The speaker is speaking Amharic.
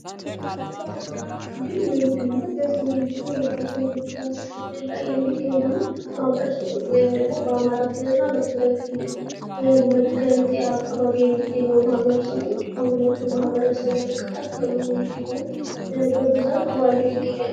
በአማራ ክልል ወይም ደግሞ በሰሜኒቱ የአገራችን ክፍል ላይ የሚገኙ ማህበረሰቦች ወይም ደግሞ በአማራ ክልል እና በትግራይ ክልል መገንጠያ አካባቢ የሚገኙ ማህበረሰቦች ከሁለቱ ማህበረሰብ የተቀላቀሉ ሲሆን በብዛት ተዋልደዉ ይገኛሉ።